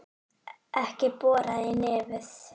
Ekki bora í nefið!